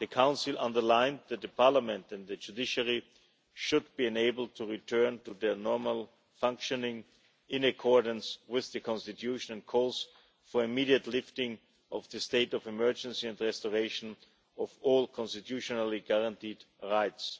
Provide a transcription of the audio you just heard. The Council underlined that the parliament and the judiciary should be enabled to return to their normal functioning, in accordance with the Constitution, and called for the immediate lifting of the state of emergency and restoration of all constitutionally guaranteed rights.